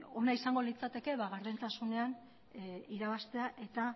ona izango litzateke gardentasunean irabaztea eta